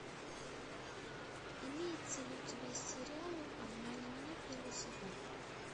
имеется ли у тебя сериал обмани меня первый сезон